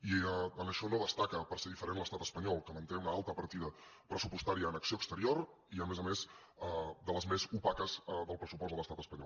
i en això no destaca per ser diferent l’estat espanyol que manté una alta partida pressupostària en acció exterior i a més a més de les més opaques del pressupost de l’estat espanyol